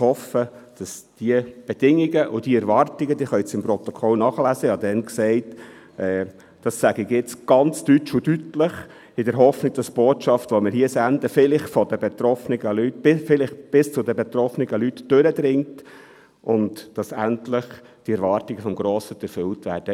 Sie können es im Protokoll nachlesen, ich habe damals gesagt: «[…] das sage ich jetzt ganz deutsch und deutlich –» in der Hoffnung, «dass die Botschaft, die wir hier senden, vielleicht bis zu den betroffenen Leuten durchdringt.» und dass endlich diese Erwartungen des Grossen Rats erfüllt werden.